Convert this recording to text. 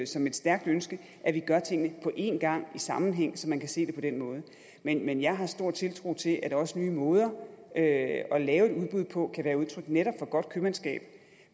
som et stærkt ønske at vi gør tingene på en gang i sammenhæng så man kan se det på den måde men jeg har stor tiltro til at også nye måder at lave et udbud på kan være udtryk for netop godt købmandskab